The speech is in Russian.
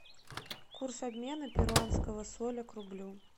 курс обмена перуанского соля к рублю